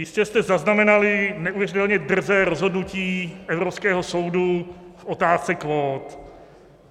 Jistě jste zaznamenali neuvěřitelně drzé rozhodnutí Evropského soudu v otázce kvót.